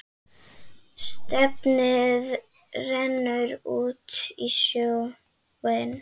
Stefnið rennur út í sjóinn.